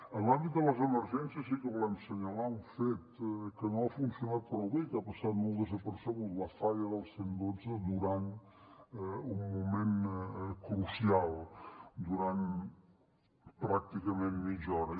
en l’àmbit de les emergències sí que volem assenyalar un fet que no ha funcionat prou bé i que ha passat molt desapercebut la falla del cent i dotze durant un moment crucial durant pràcticament mitja hora